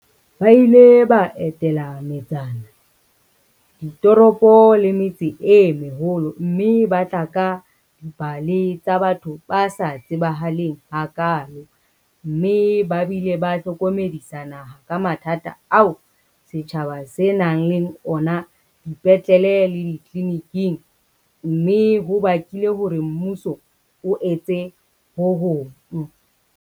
Ba ile ba etela metsana, ditoropo le metse e meholo mme ba tla ka dipale tsa batho ba sa tsebahaleng hakaalo mme ba bile ba hlokomedisa naha ka mathata ao setjhaba se nang le ona dipetlele le ditleliniking, mme hona ho bakile hore mmuso o etse ho hong.